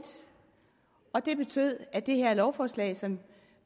og det betyder at det her lovforslag som